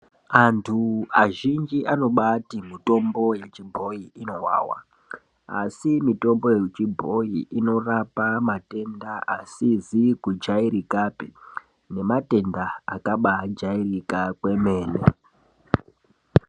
Antu azhinji anobati mitombo yechibhoi inovava. Asi mitombo yechibhoi inorapa matenda asizi kujairikapi nematenda akabajairika kwemene.